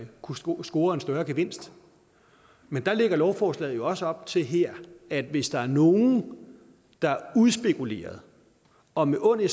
kunne score score en større gevinst men der lægger lovforslaget også op til her at hvis der er nogen der udspekuleret og med onde